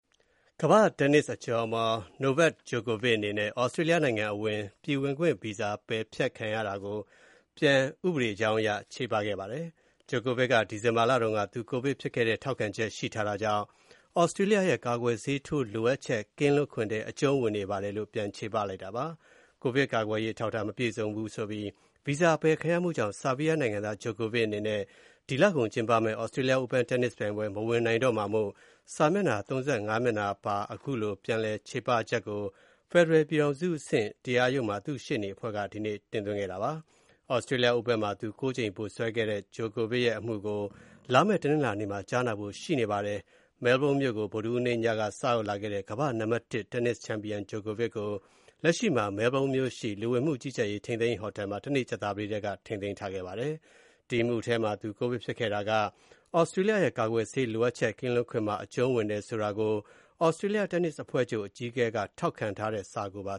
ကမ္ဘာ့တင်းနစ်အကျော်အမော် Novak Djokovic အနေနဲ့ သြစတြေးလျနိုင်ငံအဝင် ပြည်ဝင်ခွင့်ဗီဇာ ပယ်ဖျက်ခံခဲ့ရတဲ့အပေါ် ဥပဒေကြောင်းအရ ပြန်ပြီး ချေပ တင်ပြခဲ့ပါတယ်။ Djokovic က ဒီဇင်ဘာလတုန်းက သူ ကိုဗစ်ဖြစ်ခဲ့တဲ့ ထောက်ခံချက် ရှိထားတာကြောင့် သြစတြေးလျရဲ့ ကာကွယ်ဆေးထိုးလိုအပ်ချက် ကင်းလွတ်ခွင့်ထဲ အကျုံးဝင်နေပါတယ်လို့ ဥပဒေကြောင်းအရ ပြန်ချေပလိုက်တာပါ။ ကိုဗစ်ကာကွယ်ရေး အထောက်အထား မပြည့်စုံဘူးဆိုပြီး ဗီဇာအပယ်ခံရမှုကြောင့် ဆားဘီးယားနိုင်ငံသား Djokovic အနေနဲ့ ဒီလကုန်ကျင်းပမယ့် Australia Open တင်းနစ်ပြိုင်ပွဲ မဝင်နိုင်တော့မှာမို့ စာမျက်နှာ ၃၅ မျက်နှာပါ အမူတွဲကို ဖက်ဒရယ် ပြည်ထောင်စုအဆင့် တရားရုံးမှာ သူ့ရှေ့နေအဖွဲ့က ဒီနေ့ တင်သွင်းခဲ့တာပါ။ Australia Open မှာ သူ ၉ ကြိမ် ဗိုလ်စွဲခဲ့တဲ့ Djokovic ရဲ့ အမှုကို လာမယ့် တနင်္လာနေ့မှာ ကြားနာဖို့ ရှိနေပါတယ်။ မဲလ်ဘုန်းမြို့ကို ဗုဒ္ဓဟူးနေ့ညက စရောက်လာခဲ့တဲ့ ကမ္ဘာ့နံပါတ် ၁ တင်းနစ်ချန်ပီယံ Djokovic ကို လက်ရှိမှာ မဲလ်ဘုန်းမြို့ရှိ လူဝင်မှုကြီးကြပ်ရေး ထိန်းသိမ်းရေးဟိုတယ်မှာ တနေ့ ကြာသပတေးတည်းက ထိန်းသိမ်းထားခဲ့ပါတယ်။ ဒီအမှုထဲမှာ သူကိုဗစ်ဖြစ်ခဲ့တာက သြစတြေးလျရဲ့ ကာကွယ်ဆေး လိုအပ်ချက် ကင်းလွတ်ခွင့်မှာ အကျုံးဝင်တယ်ဆိုတာကို သြစတြေးလျ တင်းနစ်အဖွဲ့ချုပ် အကြီးအကဲက ထောက်ခံထားတဲ့ စာကိုပါ